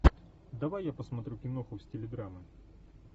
давай я посмотрю киноху в стиле драмы